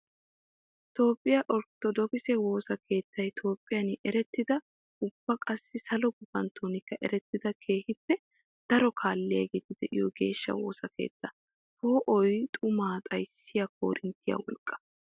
Toophphiya orttodookise woosa keettay Toophphiyan erettidanne ubba qassi salo gufanttokka erettidda keehippe daro kaaliyagetti de'iyo geeshsha woosa keetta. Poo'oy xuma xayssiya koorinttiya wolqqaa.